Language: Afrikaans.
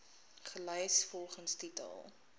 gelys volgens titel